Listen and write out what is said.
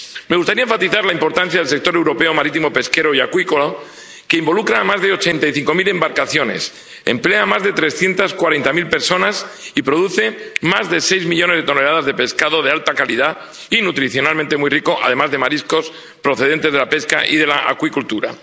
Me gustaría enfatizar la importancia del sector europeo marítimo pesquero y acuícola, que involucra a más de ochenta y cinco mil embarcaciones, emplea a más de trescientas cuarenta mil personas y produce más de seis millones de toneladas de pescado de alta calidad y nutricionalmente muy rico, además de mariscos procedentes de la pesca y de la acuicultura.